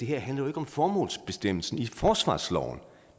handler om formålsbestemmelsen i forsvarsloven